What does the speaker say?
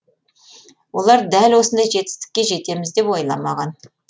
олар дәл осындай жетістікке жетеміз деп ойламаған